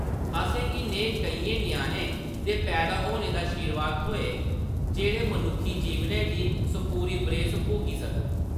असेंगी नेह् केइयें ञ्याणें दे पैदा होने दा शीरवाद थ्होऐ जेह्‌‌ड़े मनुक्खी जीवनै दी सपूरी बरेस भोगी सकन !